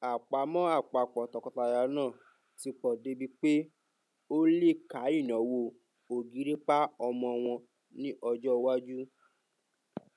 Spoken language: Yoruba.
àpamọ àpapọ tọkọtaya náà ti pọ débi pé ó lè ká ináwó ògìrìpá ọmọ wọn ní ọjọ iwájú